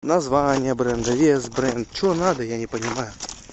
название бренда вес бренд че надо я не понимаю